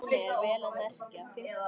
Ég var alltaf með Gogga í svona poka.